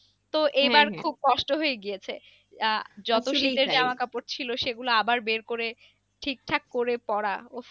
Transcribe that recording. তো কষ্ট হয়ে গিয়েছে আহ সে গুলো আবার বের করে ঠিকঠাক করে পড়া উফ